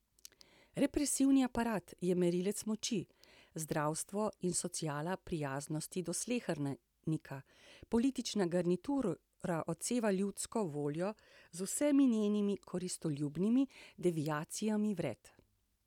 Represivni aparat je merilec moči, zdravstvo in sociala prijaznosti do slehernika, politična garnitura odseva ljudsko voljo z vsemi njenimi koristoljubnimi deviacijami vred.